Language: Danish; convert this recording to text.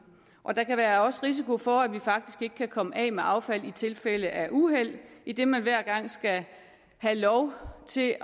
og der kan også være risiko for at vi faktisk ikke kan komme af med affaldet i tilfælde af uheld idet man hver gang skal have lov til at